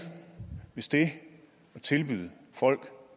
hvis det at tilbyde folk